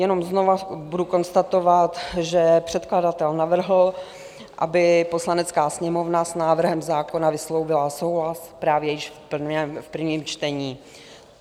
Jenom znova budu konstatovat, že předkladatel navrhl, aby Poslanecká sněmovna s návrhem zákona vyslovila souhlas právě již v prvním čtení.